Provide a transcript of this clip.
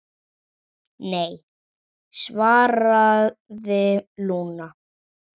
Nei, svaraði Lúna.